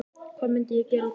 Hvað myndi ég gera á daginn?